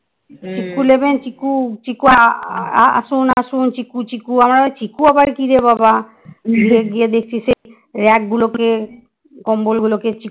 চিকু নেবেন চিকু আসুন আসুন চিকু চিকু আমরা ভাবছি চিকু আবার কিরে বাবা গিয়ে দেখছি সেই rack গুলোতে কম্বল গুলোকে